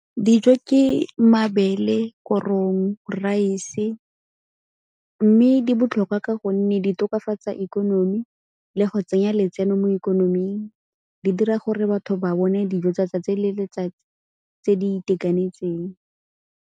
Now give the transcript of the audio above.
Dijo ke mabele, korong, raese mme di botlhokwa ka gonne di tokafatsa ikonomi le go tsenya letseno mo ikonoming. Di dira gore batho ba bone dijo tsatsi le letsatsi tse di itekanetseng.